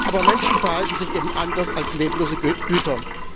Aber Menschen verhalten sich eben anders als leblose Güter.